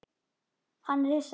Hann er hissa.